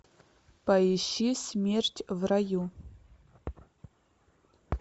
поищи смерть в раю